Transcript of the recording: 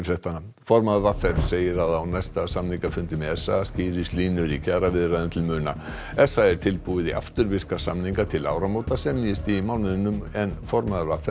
formaður v r segir að á næsta samningafundi með s a skýrist línur í kjaraviðræðum til muna s a er tilbúið í afturvirka samninga til áramóta semjist í mánuðinum en formaður v r